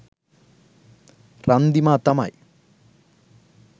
රන්දිමා තමයි.